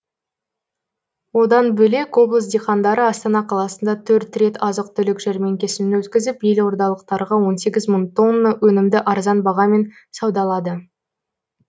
одан бөлек облыс диқандары астана қаласында төрт рет азық түлік жәрмеңкесін өткізіп елордалықтарға он сегіз мың тонна өнімді арзан бағамен саудалады